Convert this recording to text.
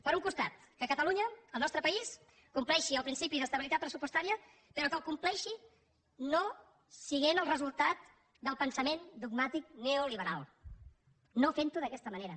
per un costat que catalunya el nostre país compleixi el principi d’estabilitat pressupostària però que el compleixi no sent el resultat del pensament dogmàtic neoliberal no fent ho d’aquesta manera